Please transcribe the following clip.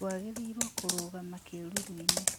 Twagĩrĩirwo kũrũgama kĩruru-inĩ